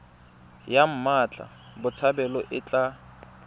ya mmatla botshabelo e tla